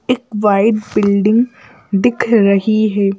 एक white building दिख रही है।